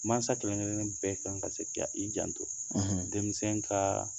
Mansa kelenkelen bɛ kan ka sek' i janto denmisɛnnin ka